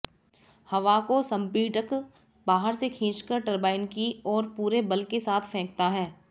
हवा को संपीडक बाहर से खींचकर टरबाइन की ओर पूरे बल केसाथ फेंकता है